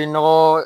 Binɔgɔ